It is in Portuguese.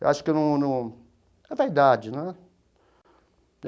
Eu acho que eu num num... É verdade, né?